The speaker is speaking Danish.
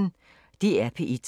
DR P1